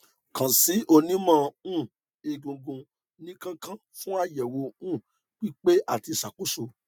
kan si onimo um egungun ni kan kan fun ayewo um pipe ati isakoso